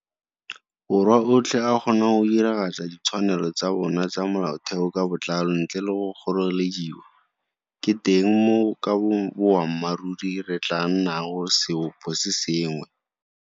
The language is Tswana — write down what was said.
Borwa otlhe a kgona go diragatsa ditshwanelo tsa bona tsa molaotheo ka botlalo ntle le go kgorelediwa, ke teng moo ka boammaruri re tla nnag seoposengwe.